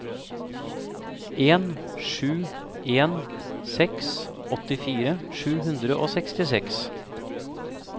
en sju en seks åttifire sju hundre og sekstiseks